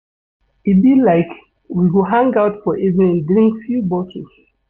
E be like we go hang out for evening drink few bottles.